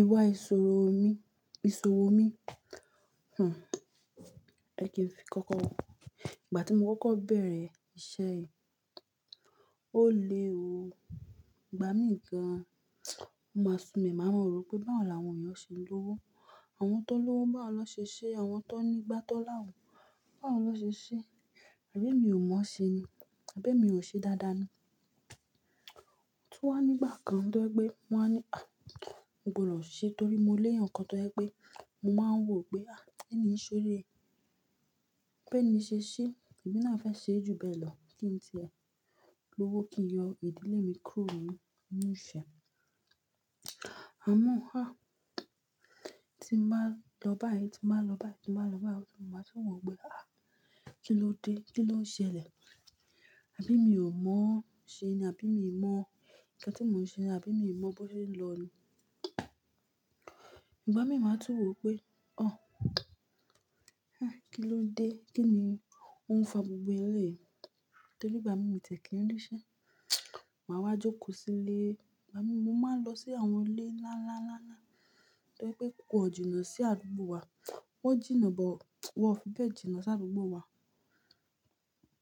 Ìwà ìṣòwo mi, ìṣòwo mi. Hah, ẹ kí ń fi kọ́kọ́. Ìgbà tí mo kọ́kọ́ bẹ̀rẹ̀ iṣẹ́ yìí, ó le ò, ìgbà mí gan, o máa súnmi, màá mọ̀ ro pé báwo làwọn èèyàn ṣe ń lówó. Àwọn tó n lówó bá wọ́n lọ ṣe iṣẹ́, àwọn tó ní ìgbá tọ̀ láwọ bá wọ́n lọ ṣe iṣẹ́. Àbí emi ò mọ̀ ṣe ni? Àbí mi ò ṣe dáadáa ni? Otu wá ní ìgbà kan tó ẹ pé mo máa ní, ah, mo gbọdọ̀ ṣise torí mo lé èèyàn kan tó ẹ pé, mo máa ń wò pé, ah, eni ṣòrire. Àwọn tó n lówó bá wọ́n lọ ṣe iṣẹ́, àwọn tó ní ìgbá tọ̀ láwọ bá wọ́n lọ ṣe iṣẹ́. Ẹ̀mí náà fẹ́ ṣe júbẹ̀ lọ, kí n ṣe ẹ́? L'ówó kí n yọ ìdílé mi kúrò nínú iṣẹ́. Àmọ́ ah, tí mo bá lọ báyìí, tí mo bá lọ báyìí, tí mo bá lọ báyìí, mo máa tún wò pé, ah, kí ló dé? Kí ló ń ṣẹlẹ̀? Àbí mi ò mọ̀ ṣe ni? Àbí mi ò mọ̀ nǹkan tí mò ń ṣe ni? Àbí mi ò mọ̀ bó ṣe ń lọ ni? Ìgbà mí máa tún wò pé, ah, kí ló dé? Kí ni ó ń fa gbogbo elé yìí? Torí ìgbà mí ò tẹ̀ kí ń rí iṣẹ́. Màá wá jókòó sílé. Ìgbà mí mo máa lọ sí àwọn ilé ńlá, ńlá, ńlá, ńlá, tó ẹ pé púpọ̀ e jìnà sí àdúgbò wa. Wọ́n jìnnà, bo wọ́n fi bẹ́ẹ̀ jìnnà sí àdúgbò wa.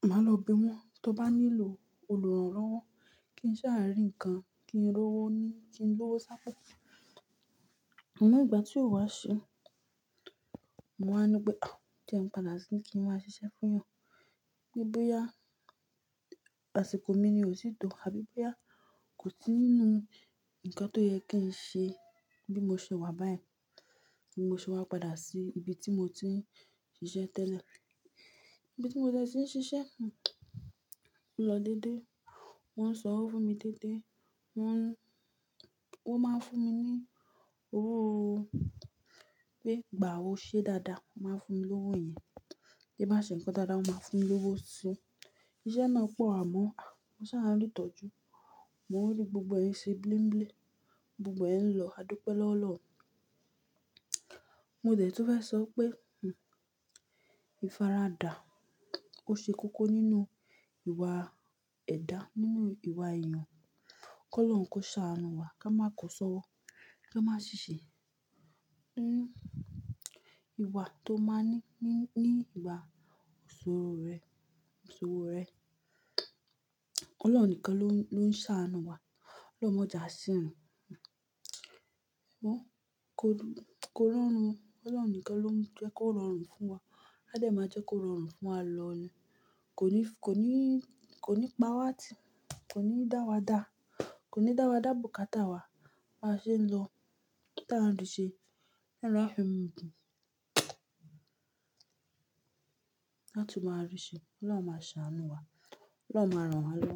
Màá lọ bi wọn. Tó bá nílò olùrànlọ́wọ́, kí n ṣàárín ǹkan, kí n rówó ni, kí n lówó ṣ'ápo. Àmo ìgbà tí ó wá ṣe, mo wá ní pé, ah, jẹ́ ẹ padà síbí kí n wá ṣiṣẹ́ fún wọn. Bí bóyá àsìkò mi ni ò sí to, àbí bóyá kò sí nínú nǹkan tó yẹ kí n ṣe bí mo ṣe wà báyìí. Bí mo ṣe wá padà sí ibi tí mo ti ń ṣiṣẹ́ tẹ́lẹ̀. Ibi tí mo dẹ̀ tí ń ṣiṣẹ́, hih, o ló dédé. Wọ́n ń sọ ọ́ fún mi dé́dé. Wọ́n, wọ́n máa ń fún mi ní owó ó. Pé gbàá o ṣe dáadáa, wọ́n máa fún mi lówó yẹn. Bí bá ṣe ǹkan dáadáa, wọ́n máa fún mi lówó sí i. Iṣẹ́ náà pọ̀ àmọ́ ah, mo ṣà rí ìtọ́jú. Mo rí gbogbo ẹ̀ ṣe bím̀bím̀. Gbogbo ẹ̀ ń lọ, a dúpẹ́ lọ́wo o'loun Mo dẹ̀ tún fẹ́ sọ pé, hih, ìfaradà ó ṣe kókó nínú ìwà ẹ̀dá, nínú ìwà èèyàn. K'olọ́run kó ṣàánú wa, ká má kọ sọ́wọ́, ká má ṣiṣẹ́. Hih, ìwà tó máa ní, ní, ní ìgbà ìṣòro rẹ, ìṣòro rẹ. Ọlọ́run nìkan ló ń, ló ń ṣàánú wa. Ọlọ́run máa jà sí rin. Hih, mo kọ, kọ́ rorùn. Ọlọ́run nìkan ló ń jẹ́ kó rọrùn fún wa. A dẹ̀ máa jẹ́ kó rọrùn fún wa lọ ni. Kò ní, kò ní, kò ní pa wá ti, kò ní dá wa dà. Kò ní dá wa dà bùkátà wá. A máa ṣe ń lọ. Taa ń rí ṣe. Ọlọ́run á fi mú dun. Láti máa rí ṣe. Ọlọ́run máa ṣàánú wa. Ọlọ́run máa ràn wa lọ.